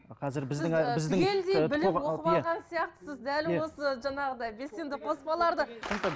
түгелдей біліп оқып алған сияқтысыз дәл осы жаңағыдай белсенді қоспаларды